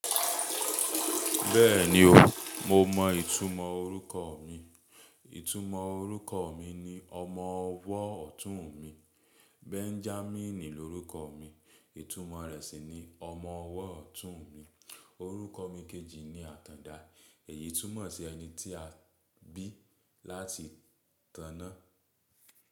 Bẹ́ẹ̀ni o, mo mọ ìtumọ̀ orúkọ mi, ìtumọ̀ orúkọ mi ni ọmọ ọwọ́ ọ̀tún mi. Benjamin ni orúkọ mi, ìtumọ̀ rẹ̀ sì ni ọmọ ọwọ́ ọ̀tún mi. Orúkọ mi kejì ni Atanda, èyí tún mọ̀ sí ẹni tí a bí láti tana.